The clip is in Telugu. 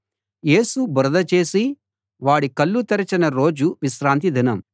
యేసు బురద చేసి వాడి కళ్ళు తెరచిన రోజు విశ్రాంతిదినం